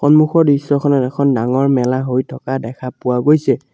সন্মুখৰ দৃশ্যখনত এখন ডাঙৰ মেলা হৈ থকা দেখা পোৱা গৈছে।